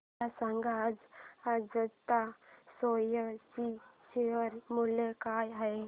मला सांगा आज अजंता सोया चे शेअर मूल्य काय आहे